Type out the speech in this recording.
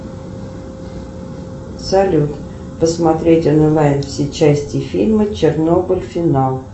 салют посмотреть онлайн все части фильма чернобыль финал